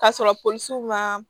Ka sɔrɔ polisiw man